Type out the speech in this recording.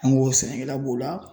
An go sɛnɛkɛla b'o la.